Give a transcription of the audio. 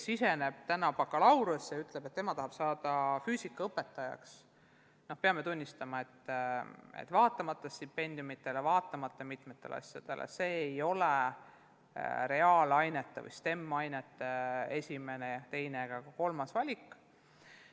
Aga et keegi täna tuleks bakalaureuseõppesse ja ütleks, et tema tahab saada füüsikaõpetajaks – no peame tunnistama, et vaatamata stipendiumidele, vaatamata mitmetele teistele boonustele ei ole see reaalainete või STEM-ainete huviliste esimene, teine ega kolmas valik.